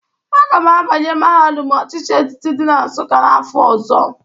Aga m abanye mahadụm ochịchị etiti dị na Nsụkka n'afọ ọzọ.